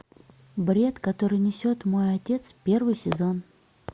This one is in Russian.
бред который несет мой отец первый сезон